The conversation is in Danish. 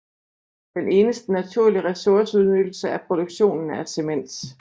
Den eneste naturlige ressourceudnyttelse er produktionen af cement